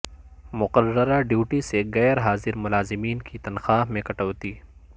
مقررہ ڈیوٹی سے غیر حاضر ملازمین کی تنخواہ میں کٹوتی